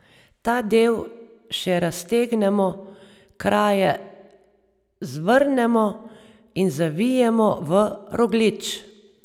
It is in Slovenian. Ta del še raztegnemo, kraje zvrnemo in zavijemo v rogljič.